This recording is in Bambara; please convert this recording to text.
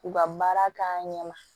U ka baara k'an ɲɛ ma